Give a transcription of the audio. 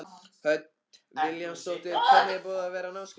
Hödd Vilhjálmsdóttir: Hvernig er búið að vera á námskeiðinu?